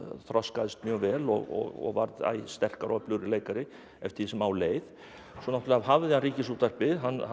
þroskaðist mjög vel og varð æ sterkari og öflugri leikari eftir því sem á leið svo náttúrulega hafði hann Ríkisútvarpið